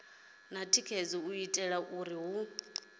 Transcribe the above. tikedzaho u itela uri hu